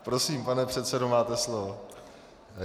Prosím, pane předsedo, máte slovo.